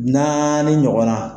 Naani ɲɔgɔnna